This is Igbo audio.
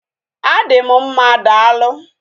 Adị m mma daalụ